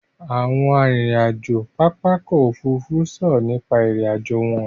Àwọn arìnrìn-àjò pápá ọkọ̀ Òfurufú sọ̀rọ̀ nípa ìrìn-àjò wọn.